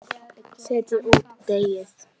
Setjið út í deigið.